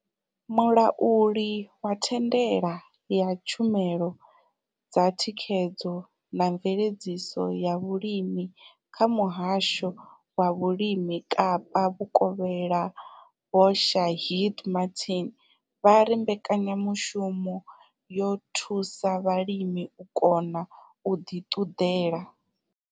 Mulauli wa thandela ya tshumelo dza thikhedzo na mveledziso ya vhulimi kha Muhasho wa Vhulimi Kapa Vhukovhela Vho Shaheed Martin vha ri mbekanya mushumo yo thusa vhalimi u kona u ḓi ṱuḓela.